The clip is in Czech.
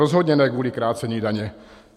Rozhodně ne kvůli krácení daně.